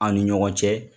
Aw ni ɲɔgɔn cɛ